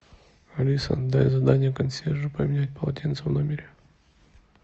алиса дай задание консьержу поменять полотенца в номере